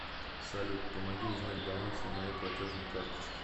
салют помоги узнать баланс на моей платежной карточке